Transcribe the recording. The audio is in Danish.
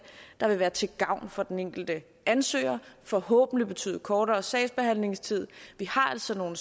der vil være til gavn for den enkelte ansøger det forhåbentlig betyde kortere sagsbehandlingstid vi har altså nogle